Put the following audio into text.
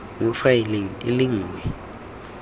mo faeleng e le nngwe